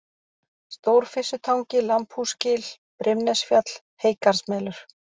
Stórfyssutangi, Lambhúsgil, Brimnesfjall, Heygarðsmelur